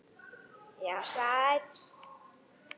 Já, sæll.